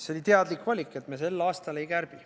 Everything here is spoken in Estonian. See oli teadlik valik, et me sel aastal ei kärbi.